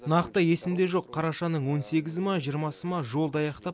нақты есімде жоқ қарашаның он сегізі ма жиырмасы ма жолды аяқтап